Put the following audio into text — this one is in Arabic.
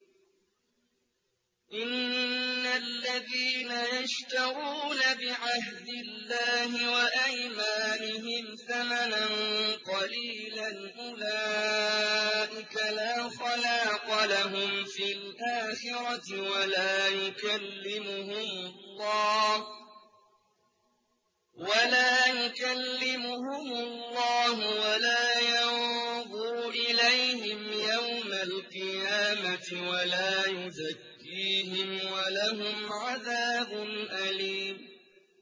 إِنَّ الَّذِينَ يَشْتَرُونَ بِعَهْدِ اللَّهِ وَأَيْمَانِهِمْ ثَمَنًا قَلِيلًا أُولَٰئِكَ لَا خَلَاقَ لَهُمْ فِي الْآخِرَةِ وَلَا يُكَلِّمُهُمُ اللَّهُ وَلَا يَنظُرُ إِلَيْهِمْ يَوْمَ الْقِيَامَةِ وَلَا يُزَكِّيهِمْ وَلَهُمْ عَذَابٌ أَلِيمٌ